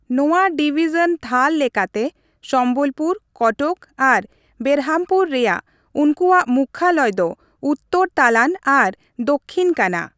ᱱᱚᱣᱟ ᱰᱤᱵᱤᱡᱚᱱ ᱛᱷᱟᱨ ᱞᱮᱠᱟᱛᱮᱺ ᱥᱚᱢᱵᱚᱞᱯᱩᱨ, ᱠᱚᱴᱚᱠ ᱟᱨ ᱵᱮᱨᱦᱟᱢᱯᱩᱨ ᱨᱮᱭᱟᱜ ᱩᱱᱠᱩᱣᱟᱜ ᱢᱩᱠᱷᱭᱟᱞᱚᱭ ᱫᱚ ᱩᱛᱛᱚᱨ ᱛᱟᱞᱟᱱ ᱟᱨ ᱫᱚᱠᱷᱤᱱ ᱠᱟᱱᱟ ᱾